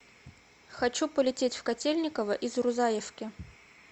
хочу полететь в котельниково из рузаевки